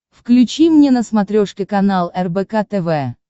включи мне на смотрешке канал рбк тв